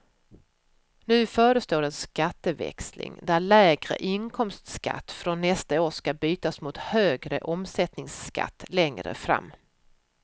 Nu förestår en skatteväxling, där lägre inkomstskatt från nästa år ska bytas mot högre omsättningsskatt längre fram.